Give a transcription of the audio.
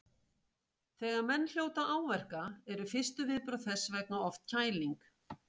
Þegar menn hljóta áverka eru fyrstu viðbrögð þess vegna oft kæling.